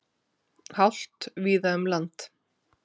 Hált víða um land